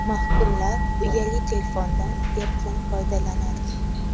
Mahkumlar uyali telefondan erkin foydalanadi.